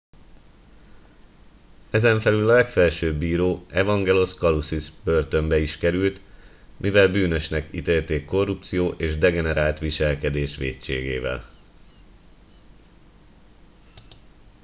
ezenfelül a legfelsőbb bíró evangelos kalousis börtönbe is került mivel bűnösnek ítélték korrupció és degenerált viselkedés vétségével